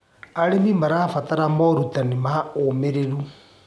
Arĩmĩ marabatara morũtanĩ ma ũmĩrĩrũ